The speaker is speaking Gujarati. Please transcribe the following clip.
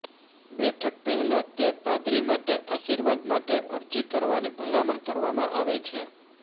બેઠક પહેલાં તે પાદરી માટે આશીર્વાદ માટે અરજી કરવાની ભલામણ કરવામાં આવે છે